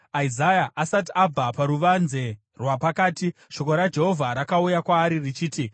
Isaya asati abva paruvanze rwapakati, shoko raJehovha rakauya kwaari richiti,